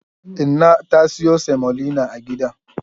Inna ta siyo semolina a gidan.